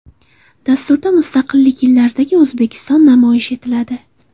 Dasturda Mustaqillik yillaridagi O‘zbekiston namoyish etiladi.